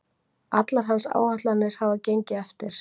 Allar hans áætlanir hafa gengið eftir